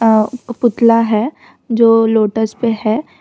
अ पुतला है जो लोटस पे है।